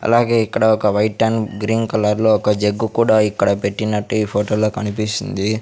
అలాగే ఇక్కడ ఒక వైట్ అండ్ గ్రీన్ కలర్ లో ఒక జగ్గు కూడా ఇక్కడ పెట్టినట్టు ఈ ఫోటోలో కనిపిస్తుంది.